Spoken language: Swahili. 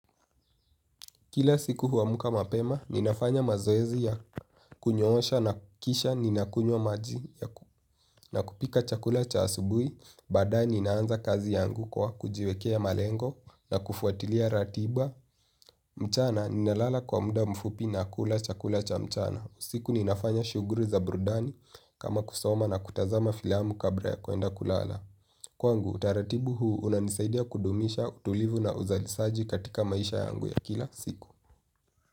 Kila siku huamka mapema ninafanya mazoezi ya kunyoosha na kisha ninakunywa maji. Na kupika chakula cha asubuhi, baadaye ninaanza kazi yangu kwa kujiwekea malengo na kufuatilia ratiba. Mchana, ninalala kwa muda mfupi na kula chakula cha mchana usiku ninafanya shughuli za burudani kama kusoma na kutazama filamu kabla ya kwenda kulala. Kwangu, utaratibu huu unanisaidia kudumisha, utulivu na uzalisaji katika maisha yangu ya kila siku.